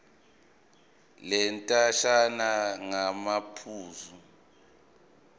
le ndatshana ngamaphuzu